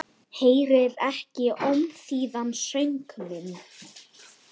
Heyrir ekki ómþýðan söng minn.